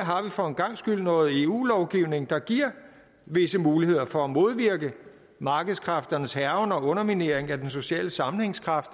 har vi for en gangs skyld noget eu lovgivning der giver visse muligheder for at modvirke markedskræfternes hærgen og underminering af den sociale sammenhængskraft